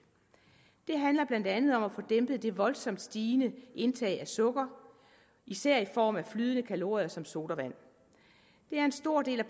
det handler blandt andet om at få dæmpet det voldsomt stigende indtag af sukker især i form af flydende kalorier som sodavand det er en stor del af